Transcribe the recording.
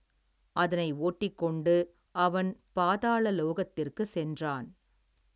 அதனை ஓட்டிக் கொண்டு அவன் பாதாள லோகத்திற்கு சென்றான்.